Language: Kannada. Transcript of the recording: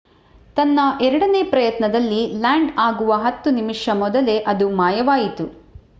ತನ್ನ ಎರಡನೇ ಪ್ರಯತ್ನದಲ್ಲಿ ಲ್ಯಾಂಡ್ ಆಗುವ ಹತ್ತು ನಿಮಿಷ ಮೊದಲೇ ಅದು ಮಾಯವಾಯಿತು